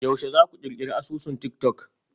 Yaushe za ku ƙirƙiri asusun tik-tok?